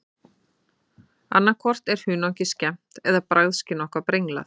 Annað hvort er hunangið skemmt eða bragðskyn okkar brenglað.